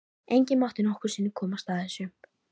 Enginn mátti nokkru sinni komast að þessu.